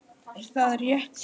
Er það rétt lýsing?